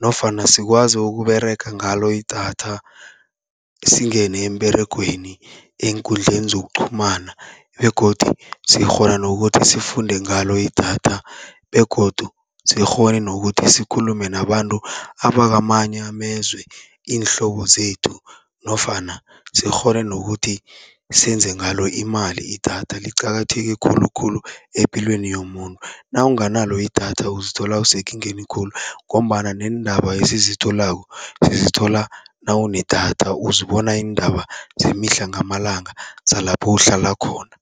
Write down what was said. nofana sikwazi ukuberega ngalo idatha singene emberegweni, eenkundleni zokuqhumana. Begodu sikghona nokuthi sifunde ngalo idatha begodu sikghone nokuthi sikhulume nabantu abakamanye amezwe, iinhlobo zethu nofana sikghone nokuthi senze ngalo imali. Idatha liqakatheke khulukhulu epilweni yomuntu, nawunganalo idatha uzithola usekingeni khulu, ngombana neendaba esizitholako sizithola nawunedatha, uzibona iindaba zemihla ngamalanga zalapho uhlala khona.